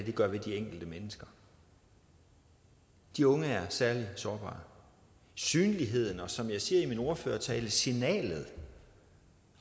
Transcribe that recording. gør ved de enkelte mennesker de unge er særlig sårbare synligheden og som jeg siger i min ordførertale signalet